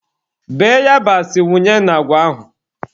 Bee yabasị wunye na agwa ahụ.